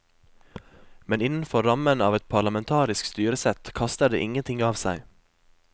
Men innenfor rammen av et parlamentarisk styresett kaster det ingenting av seg.